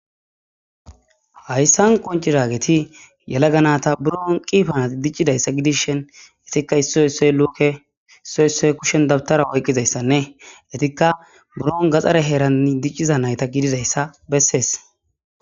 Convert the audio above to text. hayssan qonci raageti yela ganata buron qiifanati diccidayssa gidishen etikka iss soy luuke issoy issoy kushen dabtara oyqqizayssanne etikka buron gaxare heeranni dicciza nayta gididayssa bessees